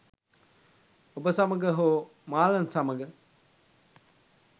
ඔබ සමඟ හෝ මාලන් සමඟ.